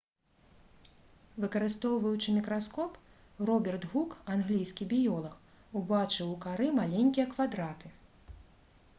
выкарыстоўваючы мікраскоп роберт гук англійскі біёлаг убачыў у кары маленькія квадраты